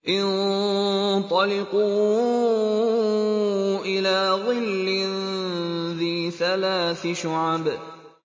انطَلِقُوا إِلَىٰ ظِلٍّ ذِي ثَلَاثِ شُعَبٍ